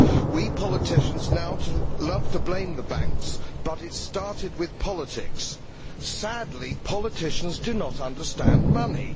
We politicians now love to blame the banks, but it started with politics. Sadly, politicians do not understand money.